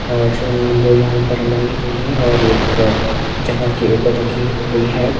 और वो यहां पर मरी हुई है और एक जगह के ऊपर रखी हुई है।